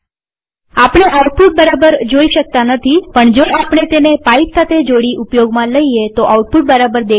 આપણે આઉટપુટ બરાબર જોઈ શકતા નથીપણ જો આપણે તેને પાઈપ સાથે જોડી ઉપયોગમાં લઈએ તોઆઉટપુટ બરાબર દેખાશે